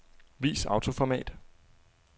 Vis autoformat.